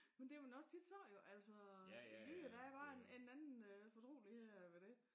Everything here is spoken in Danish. Men det man tit sagt jo altså jyder der bare en anden øh fortrolighed ved det